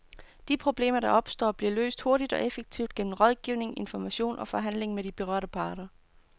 De problemer, der opstår, bliver løst hurtigt og effektivt gennem rådgivning, information og forhandling med de berørte parter.